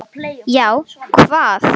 Já, hvað?